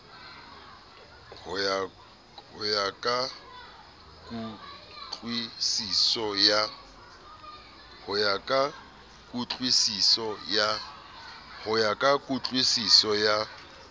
ho ya ka kutlwusiso ya